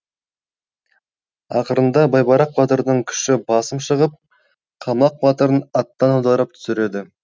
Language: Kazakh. ақырында байбарақ батырдың күші басым шығып қалмақ батырын аттан аударып түсіреді